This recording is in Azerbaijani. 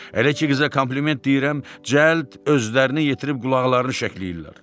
Elə ki qıza kompliment deyirəm, cəld özlərini yetirib qulaqlarını şəkləyirlər.